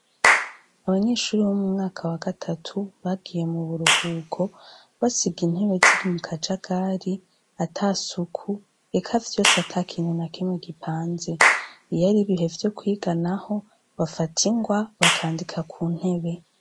Abanyeshure bo mwaka wa gatatu, bagiye mu buruhuko, basiga intebe ziri mu kajagari, ata suku, eka vyose ata kintu na kimwe gipanze. Iyo ari ibihe vyo kwiga naho, bafata ingwa, bakandika ku ntebe.